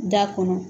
Da kɔnɔ